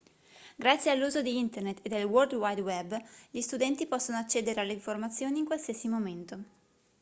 grazie all'uso di internet e del world wide web gli studenti possono accedere alle informazioni in qualsiasi momento